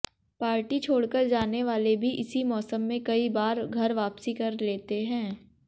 party छोड़कर जाने वाले भी इसी मौसम में कई बार घर वापसी कर लेते हैं